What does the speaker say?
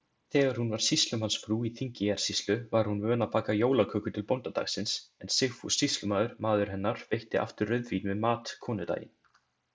Þegar hún var sýslumannsfrú í Þingeyjarsýslu, var hún vön að baka jólaköku til bóndadagsins, en Sigfús sýslumaður, maður hennar, veitti aftur rauðvín með mat konudaginn.